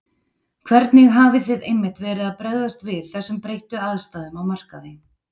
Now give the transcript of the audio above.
Hvernig hafið þið einmitt verið að bregðast við þessum breyttu aðstæðum á markaði?